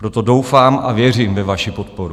Proto doufám a věřím ve vaši podporu.